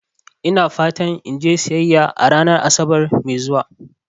Ina fatan in je siyayya a ranar Asabar mai zuwa.